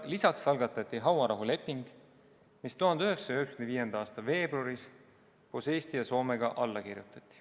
Lisaks algatati hauarahuleping, mis 1995. aasta veebruaris koos Eesti ja Soomega alla kirjutati.